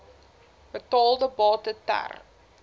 betaalde bate ter